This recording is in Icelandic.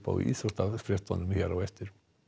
íþróttafréttum á eftir